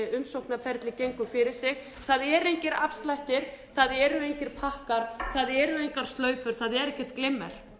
umsóknarferli gengur fyrir sig það eru engir það eru engir pakkar það eru engar slaufur það er ekkert glimmer